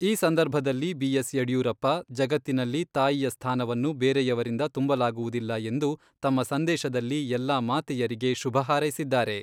ಈ ಸಂದರ್ಭದಲ್ಲಿ ಬಿ.ಎಸ್.ಯಡಿಯೂರಪ್ಪ, ಜಗತ್ತಿನಲ್ಲಿ ತಾಯಿಯ ಸ್ಥಾನವನ್ನು ಬೇರೆಯವರಿಂದ ತುಂಬಲಾಗುವುದಿಲ್ಲ ಎಂದು ತಮ್ಮ ಸಂದೇಶದಲ್ಲಿ ಎಲ್ಲಾ ಮಾತೆಯರಿಗೆ ಶುಭ ಹಾರೈಸಿದ್ದಾರೆ.